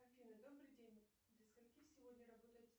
афина добрый день до скольки сегодня работает